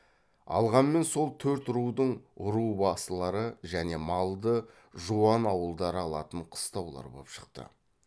алғанмен сол төрт рудың ру басылары және малды жуан ауылдары алатын қыстаулар боп шықты